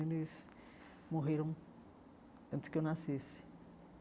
Eles morreram antes que eu nascesse.